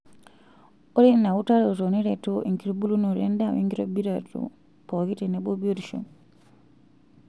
Ore ina utaroto neretoo enkitubulunoto enda wenkitobiraroto pooki tenebo biotisho